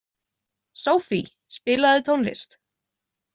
Sophie, spilaðu tónlist.